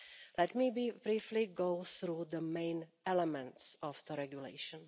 Let me briefly go through the main elements of the regulation.